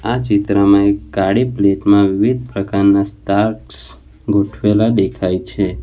આ ચિત્રમાં એક કાળી પ્લેટ માં વિવિધ પ્રકારના સ્ટાર્સ ગોઠવેલા દેખાય છે.